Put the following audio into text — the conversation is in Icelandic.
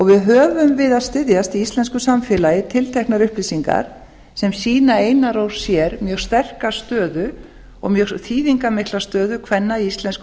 við höfum við að styðjast í íslensku samfélagi tilteknar upplýsingar sem sýna einar og sér sýna mjög sterka stöðu og mjög þýðingarmikla stöðu kvenna í íslensku